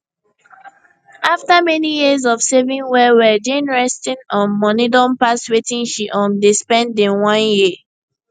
after many years of saving wellwell jane resting um money don pass wetin she um dey spend in one year